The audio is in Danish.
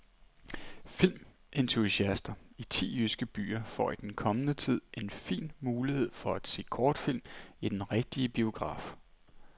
Filmentusiaster i ti jyske byer får i den kommende tid en fin mulighed for at se kortfilm i den rigtige biograf.